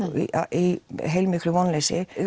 í heilmiklu vonleysi